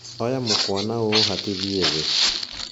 Oya mũkũa na ũũhatithie thĩ